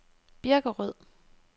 Birkerød